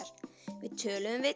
við töluðum við